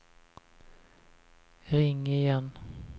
ring igen